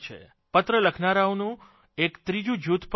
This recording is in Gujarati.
પત્ર લખનારાનું એક ત્રીજું જૂથ પણ છે